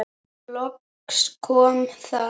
Loks kom það.